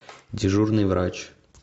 дежурный врач